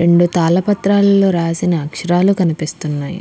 రెండు తాల పత్రాల్లో రాసిన అక్షరాలు కనిపిస్తున్నాయి.